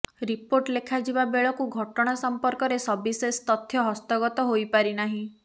report ଲେଖାଯିବା ବେଳକୁ ଘଟଣା ସମ୍ପର୍କରେ ସବିଶେଷ ତଥ୍ୟ ହସ୍ତଗତ ହୋଇପାରିନାହିଁ